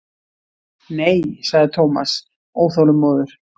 Nei sagði Thomas óþolinmóður.